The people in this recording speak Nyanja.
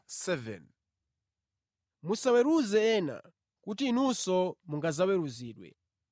“Musaweruze ena, kuti inunso mungadzaweruzidwe.